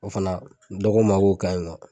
O fana dɔ ko n ma k'o ka ɲi nɔ.